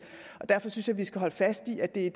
derfor synes jeg at vi skal holde fast i at det er